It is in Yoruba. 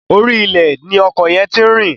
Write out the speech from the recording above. Orí ilẹ̀ ni ọkọ̀ yẹn ti rìn.